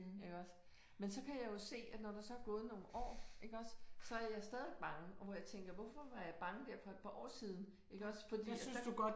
Iggås men så kan jeg jo se at når der så er gået nogle år iggås så er jeg stadig bange og hvor jeg tænker hvorfor var jeg bange der for et par år siden iggås fordi at der